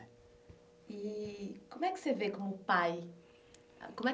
i-i como é que você vê como pai? como é,